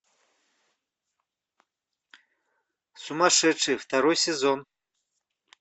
сумасшедшие второй сезон